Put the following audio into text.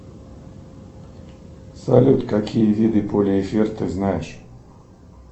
салют какие виды полиэфир ты знаешь